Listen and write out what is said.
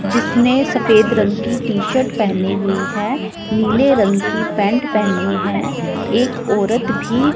जिसने सफेद रंग की टी शर्ट पेहनी हुईं हैं नीले रंग की पैंट पेहनी हैं एक औरत भी--